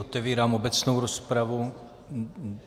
Otevírám obecnou rozpravu.